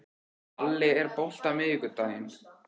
Palli, er bolti á miðvikudaginn?